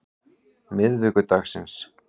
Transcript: miðvikudagsins